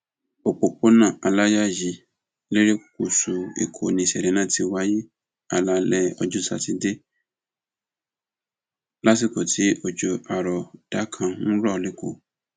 òpópónà aláyàyí lerékùṣù èkó ni ìṣẹlẹ náà ti wáyé alaalẹ ọjọ sátidé lásìkò tí òjò àrọọdá kan ń rọ lẹkọọ